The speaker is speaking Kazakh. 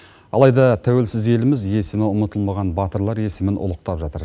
алайда тәуелсіз еліміз есімі ұмытылмаған батырлар есімін ұлықтап жатыр